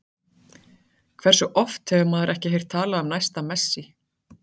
Hversu oft hefur maður ekki heyrt talað um næsta Messi?